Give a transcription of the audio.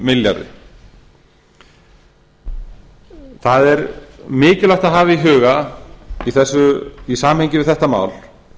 milljarði það er mikilvægt að hafa í huga í samhengi við þetta mál